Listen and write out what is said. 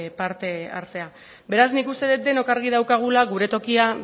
parte hartzea beraz nik uste dut denok argi daukagula gure tokia